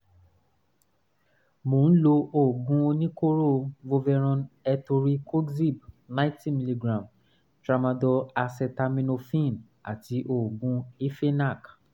mo ń lo oògùn oníkóró voveron etoricoxib 90 mg tramadol acetaminophen àti oògùn hifenac